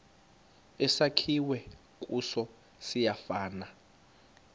esakhiwe kuso siyafana